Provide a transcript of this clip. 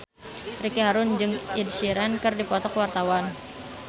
Ricky Harun jeung Ed Sheeran keur dipoto ku wartawan